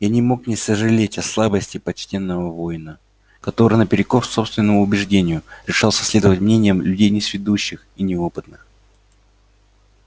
я не мог не сожалеть о слабости почтенного воина который наперекор собственному убеждению решался следовать мнениям людей несведущих и неопытных